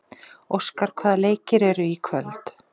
Óskar, hvaða leikir eru í kvöld?